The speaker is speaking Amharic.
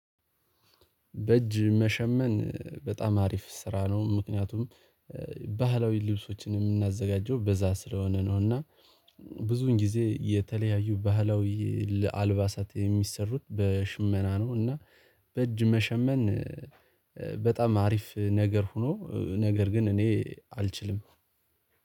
በእጅ መሸመን በጣም አሪፍ ስራ ነው። ምክንያቱም ባህላዊ ልብሶችን የምናዘጋጀው በዛ ስለሆነ ነው። እና ብዙን ጊዜ የተለያዩ ባህላዊ ለአልባሳት የሚሰሩት በሽመና ነው። እና በእጅ መሸመን በጣም አሪፍ ነገር ሆኖ ነገር ግን እኔ አልችልም